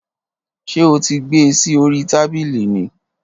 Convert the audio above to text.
Ṣé o ti gbé e sí orí tábìlì ni?